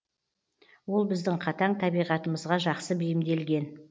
ол біздің қатаң табиғатымызға жақсы бейімделген